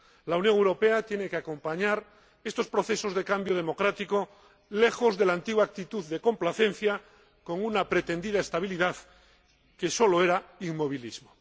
La Unión Europea tiene que acompañar estos procesos de cambio democrático, lejos de la antigua actitud de complacencia con una pretendida estabilidad que solo era inmovilismo.